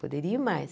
Poderia ir mais.